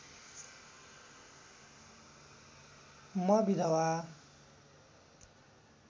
म विधवा